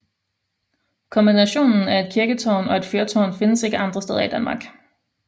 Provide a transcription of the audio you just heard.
Kombinationen af et kirketårn og et fyrtårn findes ikke andre steder i Danmark